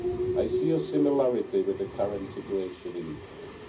I see a similarity with the current situation in Ukraine.